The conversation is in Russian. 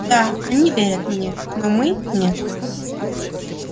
да они верят мне но мы нет